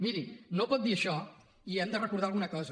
miri no pot dir això i hem de recordar alguna cosa